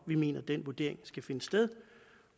vi mener den vurdering skal finde sted